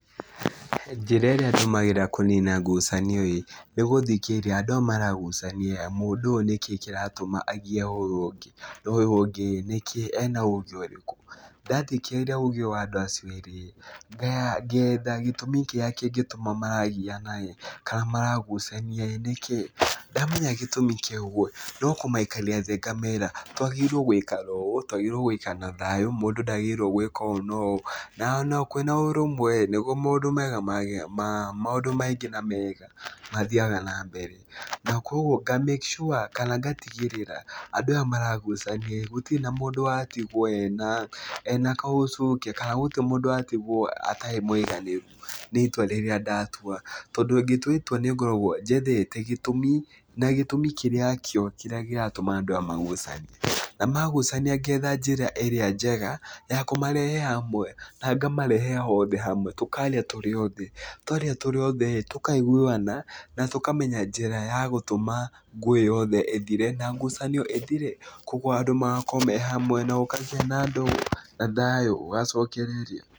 Njĩra ĩrĩa ndũmĩraga kũniina ngucanio ĩĩ nĩ gũthikĩrĩria andũ aya maragucania mũndũ ũyũ nĩkĩĩ kĩratũma agucanie na ũyũ ũngĩ? Na ũyũ ũngĩ rĩ nĩkĩĩ ena uge ũrĩkũ? Ndathikĩrĩria ũge wa andũ acio erĩ rĩ, ngetha gĩtũmi kĩrĩa kĩngĩtũma maragiana ĩĩ kana maragucania ĩĩ nĩkĩĩ. Ndamenya gĩtũmi kĩu ĩĩ no kũmaikaria thĩ ngamera twagĩrĩirwo gũikara ũũ, twagĩrĩirwo gũikara na thayũ, mũndũ ndagĩrĩirwo gwĩka ũũ na ũũ, na ona kwĩna ũrũmwe rĩ nĩgũo maũndũ maingĩ na mega mathiaga na mbere. Na kwoguo nga cs] make sure kana ngatigĩrĩra andũ aya maragucania gũtirĩ mũndũ watigwo ena kaũcũnge kana gũtirĩ mũndũ watigwo atarĩ mũiganĩru nĩ itua rĩrĩa ndatua. Tondũ ngĩtua itua nĩ ngoragwo njethete gĩtũmi na gĩtũmi kĩrĩa kĩo, kĩrĩa kĩratũma andũ aya magucanie. Na magucania ngetha njĩra ĩrĩa njega ya kũmarehe hamwe na ngamarehe othe hamwe tũkaria tũrĩ othe. Twaria tũrĩ othe tũkaiguana na tũkamenya njĩra ya gũtũma ngũĩ yothe ĩthire na ngucanio ĩthire. Kwoguo andũ magakorwo me hamwe na ũkagĩa na andũ a thayũ, ũgacokereria.